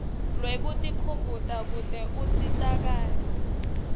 lwekutikhumbuta kute usitakale